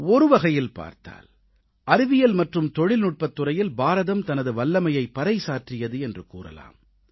ஒருவகையில் பார்த்தால் அறிவியல் மற்றும் தொழில்நுட்பத் துறையில் பாரதம் தனது வல்லமையை பறைசாற்றியது என்று கூறலாம்